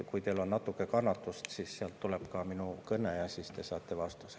Kui teil on natuke kannatust, siis oodake, kuni tuleb minu kõne, ja siis te saate vastuse.